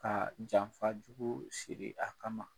Kaa janfa jugu siri a kama.